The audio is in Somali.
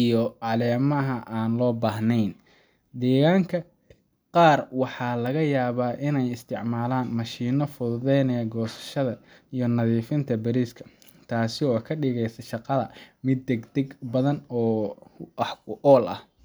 iyo caleemaha aan loo baahnayn. Deegaanka qaar waxaa laga yaabaa inay isticmaalaan mashiinno fududeeya goosashada iyo nadiifinta bariiska, taas oo ka dhigaysa shaqada mid degdeg badan oo wax ku ool ah.